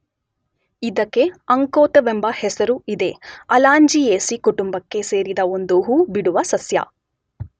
ಇದಕ್ಕೆ ಅಂಕೋತವೆಂಬ ಹೆಸರೂ ಇದೆ.ಅಲಾಂಜಿಯೇಸೀ ಕುಟುಂಬಕ್ಕೆ ಸೇರಿದ ಒಂದು ಹೂ ಬಿಡುವ ಸಸ್ಯ.